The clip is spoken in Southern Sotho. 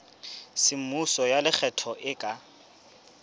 semmuso ya lekgetho e ka